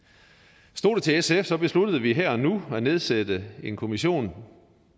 stod det til sf besluttede vi her og nu at nedsætte en kommission